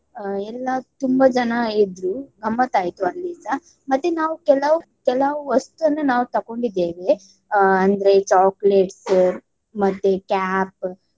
ಆ ಎಲ್ಲಾ ತುಂಬ ಜನ ಇದ್ರು ಗಮ್ಮತಾಯ್ತು ಅಲ್ಲಿಂದ ಮತ್ತೆ ನಾವು ಕೆಲವು ಕೆಲವು ವಸ್ತುವನ್ನು ನಾವು ತೆಗೊಂಡಿದ್ದೇವೆ ಆಹ್ ಅಂದ್ರೆ chocolates ಮತ್ತೆ cap